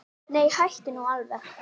Nei, hættu nú alveg.